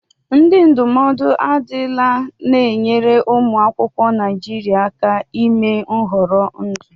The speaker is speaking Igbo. Ndị ndụmọdụ adila na-enyere ụmụ akwụkwọ Naịjiria aka ime nhọrọ ndụ.